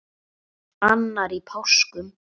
annar í páskum